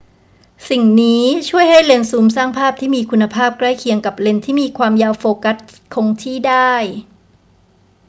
สิ่งนี้ช่วยให้เลนส์ซูมสร้างภาพที่มีคุณภาพใกล้เคียงกับเลนส์ที่มีความยาวโฟกัสคงที่ได้